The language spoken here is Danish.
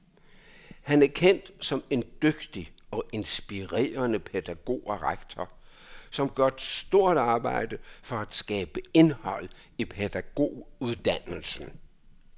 Han er kendt som en dygtig og inspirerende pædagog og rektor, som gør et stort arbejde for at skabe indhold i pædagoguddannelsen.